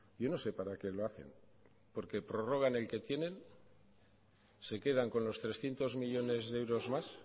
yo no sé para qué lo hacen porque prorrogan el que tienen se quedan con los trescientos millónes de euros más